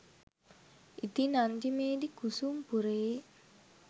ඉතින් අන්තිමේදි කුසුම් පුරයේ